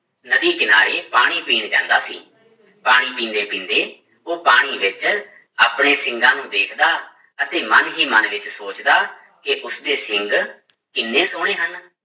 ਨਦੀ ਕਿਨਾਰੇ ਪਾਣੀ ਪੀਣ ਜਾਂਦਾ ਸੀ, ਪਾਣੀ ਪੀਂਦੇ ਪੀਂਦੇ ਉਹ ਪਾਣੀ ਵਿੱਚ ਆਪਣੇ ਸਿੰਗਾਂ ਨੂੰ ਵੇਖਦਾ ਅਤੇ ਮਨ ਹੀ ਮਨ ਵਿੱਚ ਸੋਚਦਾ ਕਿ ਉਸਦੇ ਸਿੰਗ ਕਿੰਨੇ ਸੋਹਣੇ ਹਨ।